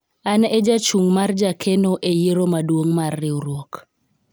an e jachung' mar jakeno e yiero maduong' mar riwruok